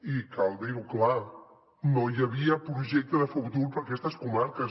i cal dir ho clar no hi havia projecte de futur per a aquestes comarques